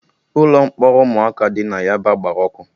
Ụlọ mkpọrọ ụmụaka dị na yaba gbara ọkụ